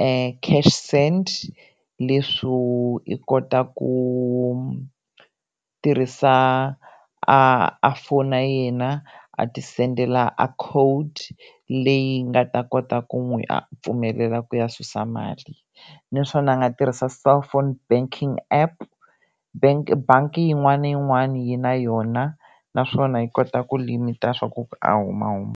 e Cash Send leswo i kota ku tirhisa a a fona yena a ti sendela a code leyi nga ta kota ku n'wi a pfumelela ku ya susa mali naswona a nga tirhisa cellphone banking app bank bangi yin'wani na yin'wani yi na yona naswona yi kota ku limit-a swaku a humahuma.